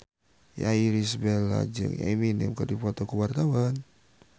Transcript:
Irish Bella jeung Eminem keur dipoto ku wartawan